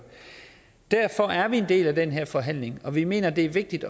derfor er vi en del af den her forhandling og vi mener at det er vigtigt